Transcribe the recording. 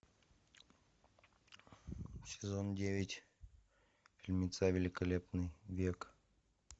сезон девять фильмеца великолепный век